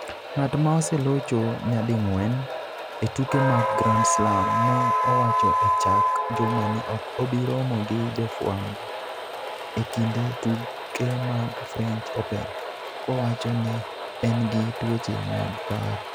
Ng'at ma oselocho nyading'wen e tuke mag Grand Slam ne owacho e chak juma ni ok obi romo gi jofwambo e kinde tuke mag French Open, kowacho ni en gi tuoche mag paro.